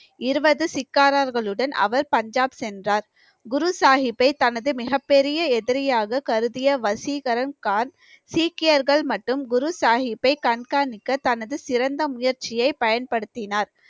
இருபது சிக்காரர்களுடன் அவர் பஞ்சாப் சென்றார் குரு சாஹிப்பை தனது மிகப் பெரிய எதிரியாக கருதிய வசீகரன் கான் சீக்கியர்கள் மற்றும் குரு சாஹிப்பை கண்காணிக்க தனது சிறந்த முயற்சியை பயன்படுத்தினார்